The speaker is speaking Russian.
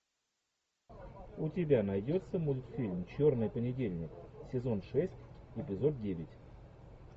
у тебя найдется мультфильм черный понедельник сезон шесть эпизод девять